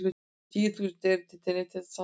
Tíu þúsund erindi til Neytendasamtakanna